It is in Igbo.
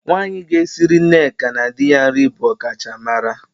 Nwaanyị ga-esiri Nneka na di ya nri bụ ọkachamara.